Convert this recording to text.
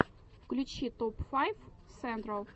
включи топ файв сентрал